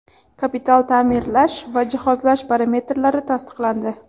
kapital taʼmirlash va jihozlash parametrlari tasdiqlandi.